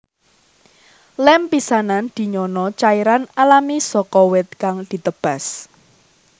Lem pisanan dinyana cairan alami saka wit kang ditebas